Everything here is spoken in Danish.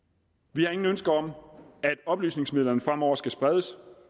vi har ingen ønsker om at oplysningsmidlerne fremover skal spredes